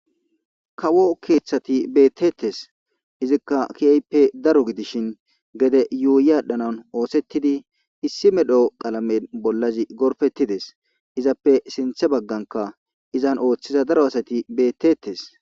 kawo keeththati beettettes izikka kiyayppe daro gidishin gede yuuyi aadhdhanan oosettidi issi medho qalamen bollazi gorfettides izappe sinthe bagganka izan ooththiza daro asati beettetes